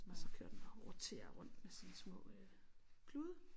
Og så kører den og roterer rundt med sine små øh klude